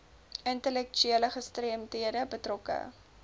intellektuele gestremdhede betrokke